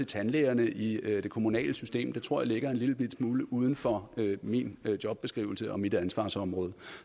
tandlægerne i det kommunale system tror jeg ligger en lillebitte smule uden for min jobbeskrivelse og mit ansvarsområde